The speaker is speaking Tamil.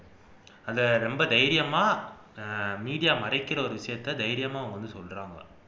அதை ரொம்ப தைரியமா media மறைக்கிற விஷயத்தை ரொம்ப தைரியமா வந்து சொல்றாங்க